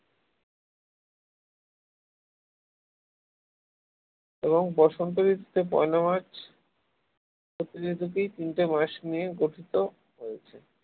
এবং বসন্ত ঋতুকে পয়লা মার্চ থেকেই তিনটি মাস নিয়ে গঠিত করা হয়েছে